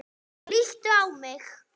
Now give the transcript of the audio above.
Líttu á mig.